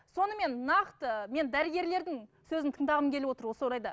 сонымен нақты мен дәрігерлердің сөзін тыңдағым келіп отыр осы орайда